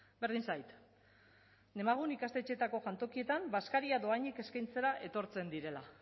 berdin zait demagun ikastetxeetako jantokietan bazkaria dohainik eskaintzera etortzen direla